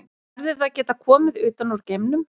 Hefði það getað komið utan úr geimnum?